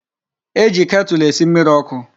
E ji ketulu esi mmiri oku